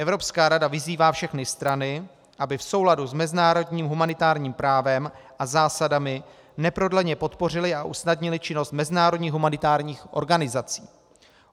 Evropská rada vyzývá všechny strany, aby v souladu s mezinárodním humanitárním právem a zásadami neprodleně podpořily a usnadnily činnost mezinárodních humanitárních organizací.